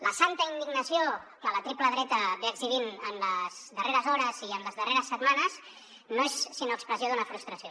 la santa indignació que la triple dreta exhibeix en les darreres hores i en les darreres setmanes no és sinó expressió d’una frustració